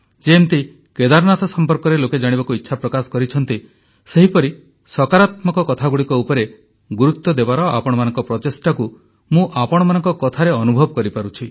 ଯେମିତି କେଦାରନାଥ ସମ୍ପର୍କରେ ଲୋକେ ଜାଣିବାକୁ ଇଚ୍ଛା ପ୍ରକାଶ କରିଛନ୍ତି ସେହିପରି ସକାରାତ୍ମକ କଥାଗୁଡ଼ିକ ଉପରେ ଗୁରୁତ୍ୱ ଦେବାର ଆପଣମାନଙ୍କ ପ୍ରଚେଷ୍ଟାକୁ ମୁଁ ଆପଣମାନଙ୍କ କଥାରେ ଅନୁଭବ କରିପାରୁଛି